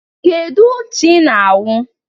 Kedu ncha i na awu?